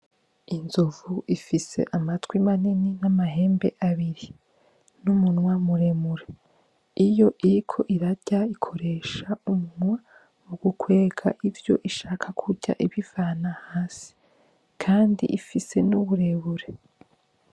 Inzovu ifise amatwi manini namahembe abiri numunwa muremure, iyo iriko irarya ikoresha umunwa ukwega ivyo ishaka kurya ibivana hasi kandi ifise nuburebure.